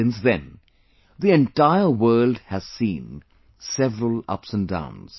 Since then, the entire world has seen several ups and downs